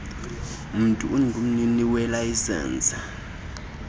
mntu ungumnini welayisenisi